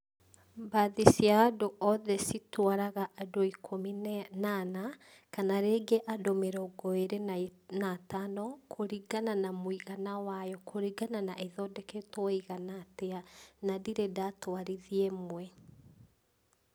Mbathi cia andũ othe citwaraga andũ ikũmi na e, na ana, kana rĩngĩ andũ mĩrongo ĩrĩ na atano, kũringana na mũigana wayo, kũringa na na ĩthondeketwo ĩigana arĩa, na ndirĩ ndatwarithia ĩmwe.